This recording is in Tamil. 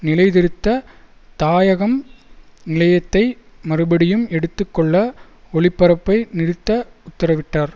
நிலைநிறுத்த தாயகம் நிலையத்தை மறுபடியும் எடுத்து கொள்ள ஒளிபரப்பை நிறுத்த உத்தரவிட்டார்